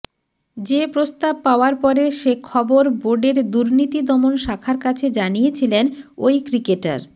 যে প্রস্তাব পাওয়ার পরে সে খবর বোর্ডের দুর্নীতি দমন শাখার কাছে জানিয়েছিলেন ওই ক্রিকেটার